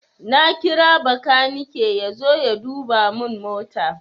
Na kira bakanike yazo ya duba mun mota